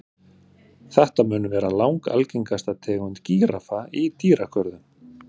Þetta mun vera langalgengasta tegund gíraffa í dýragörðum.